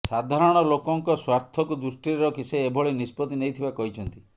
ସାଧାରଣ ଲୋକଙ୍କ ସ୍ୱାର୍ଥକୁ ଦୃଷ୍ଟିରେ ରଖି ସେ ଏଭଳି ନିଷ୍ପତ୍ତି ନେଇଥିବା କହିଛନ୍ତି